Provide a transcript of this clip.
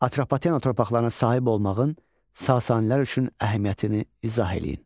Atropatenanın torpaqlarına sahib olmağın Sasanilər üçün əhəmiyyətini izah eləyin.